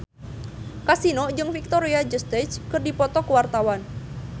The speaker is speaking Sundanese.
Kasino jeung Victoria Justice keur dipoto ku wartawan